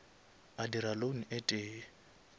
a dira loan e tee